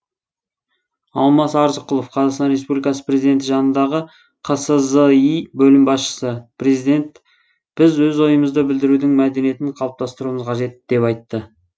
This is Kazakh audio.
алмас арзықұлов қазақстан республикасының президенті жанындағы қсзи бөлім басшысы президент біз өз ойымызды білдірудің мәдениетін қалыптастыруымыз қажет деп айтты